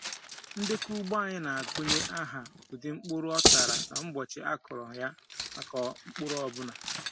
Ndekọ ugbo anyị na-agụnye aha, ụdị, mkpụrụ ọ tara, na ụbọchị a kụrụ ya maka mkpụrụ ọ bụla.